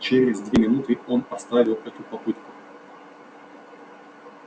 через две минуты он оставил эту попытку